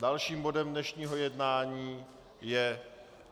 Dalším bodem dnešního jednání je